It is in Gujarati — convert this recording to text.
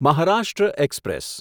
મહારાષ્ટ્ર એક્સપ્રેસ